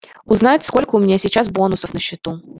узнать сколько у меня сейчас бонусов на счету